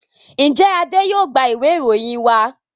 njé Ade yóò gbà Ìwé ìròyìn wa?